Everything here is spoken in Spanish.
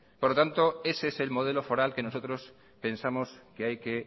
por lo tanto ese es el modelo foral que nosotros pensamos que hay que